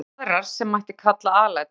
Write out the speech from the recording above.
Svo eru aðrar sem mætti kalla alætur.